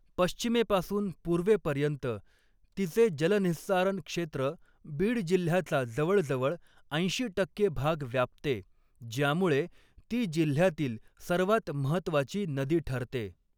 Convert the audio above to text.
पश्चिमेपासून पूर्वेपर्यंत तिचे जलनिहिस्सारण क्षेत्र बीड जिल्ह्याचा जवळजवळ ऐंशी टक्के भाग व्यापते, ज्यामुळे ती जिल्ह्यातील सर्वात महत्त्वाची नदी ठरते.